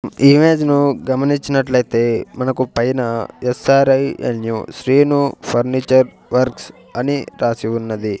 Image ను గమనించినట్లయితే మనకు పైన ఎస్ ఆర్ ఐ ఆన్ యూ శ్రీను ఫర్నిచర్ వర్క్స్ అని రాసి ఉన్నది.